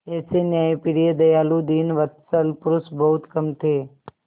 ऐसे न्यायप्रिय दयालु दीनवत्सल पुरुष बहुत कम थे